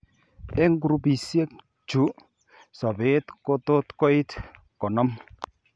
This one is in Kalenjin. Eng' grupisiek chu sobeet kotot koit konom